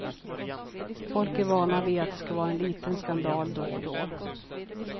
Folk är vana vid att det ska vara en liten skandal då och då.